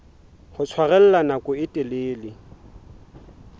ho tshwarella nako e telele